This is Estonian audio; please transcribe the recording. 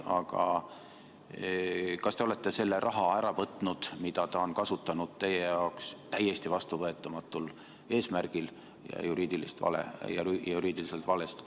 Aga kas te olete selle raha ära võtnud, mida ta on kasutanud teie jaoks täiesti vastuvõetamatul eesmärgil ja juriidiliselt valesti?